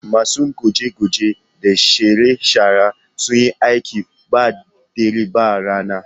Masu goge-goge da share-sharen sun yi aiki ba dare ba rana